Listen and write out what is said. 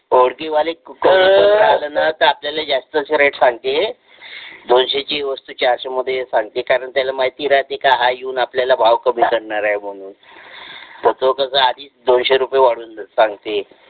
ओळखी वाले राहिले ना तर आपल्याला जास्तीचे rate सांगते दोनशे ची वस्तू चारशे मध्ये सांगते कारण त्याला माहिती राहते की हा येऊन आपल्याला भाव कमी करणार आहे म्हणून मग तो कसा आधीच दोनशे रुपये वाढवून सांगते